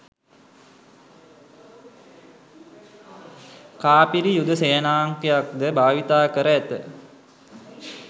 කාපිරි යුද සේනාංකයක්ද භාවිතා කර ඇත